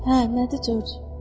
Hə, nədir, Corc?